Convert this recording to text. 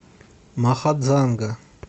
махадзанга